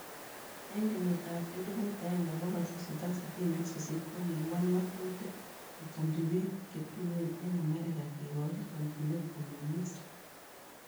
En keyit ab 1868 kokiwal ngatutik kechomji piik chetuen en America kikochi chomjinet komeng'is